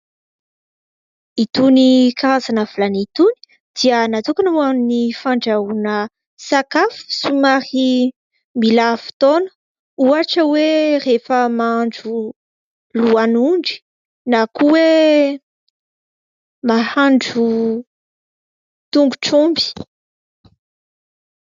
Itony karazana vilany itony dia natokana ho an'ny fandrahoana sakafo somary mila fotoana. Ohatra hoe rehefa mahandro lohan'ondry, na koa mahandro tongotr'omby.